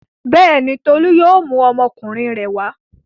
Bẹ́ẹ̀ni, Tolú yóò mú ọmọkùnrin rẹ̀ wá.